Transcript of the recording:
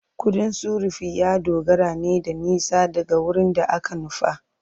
Kudin sufuri ya dogara ne da nisa daga wurin da aka nufa.